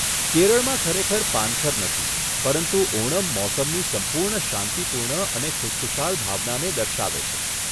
કેરળમાં ખરેખર પાનખર નથી, પરંતુ ઓનમ મોસમની સંપૂર્ણ શાંતિપૂર્ણ અને ખુશખુશાલ ભાવનાને દર્શાવે છે.